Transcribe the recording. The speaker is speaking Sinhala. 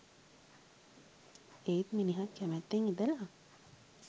ඒත් මිනිහත් කැමැත්තෙන් ඉඳලා